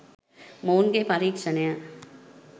මොවුන්ගේ පරීක්ෂණය